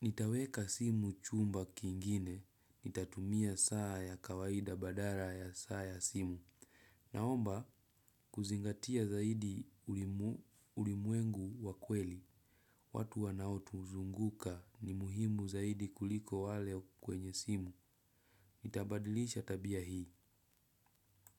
Nitaweka simu kwa chumba kingine. Nitatumia saa ya kawaida badala ya saa ya simu. Naomba kuzingatia zaidi ulimwengu wa kweli. Watu wanaotuzunguka ni muhimu zaidi kuliko wale kwenye simu. Nitabadilisha tabia hii.